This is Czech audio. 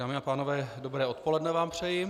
Dámy a pánové, dobré odpoledne vám přeji.